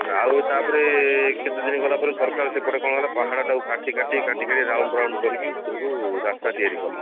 ଆଉ ତାପରେ କେତେଦିନ ଗଲାପରେ ସରକାର ସେପଟେ କଣ କଲା ପାହାଡ ଟାକୁ କାଟି କାଟି କାଟି କାଟି round round କରିକି ଉପରକୁ ରାସ୍ତା ତିଆରି କଲା